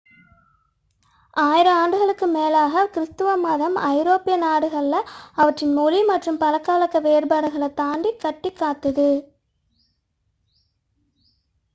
ஆயிரம் ஆண்டுகளுக்கு மேலாக கிருஸ்துவ மதம் ஐரோப்பிய நாடுகளை அவற்றின் மொழி மற்றும் பழக்கவழக்க வேறுபாடுகளைத் தாண்டி கட்டிக்காத்தது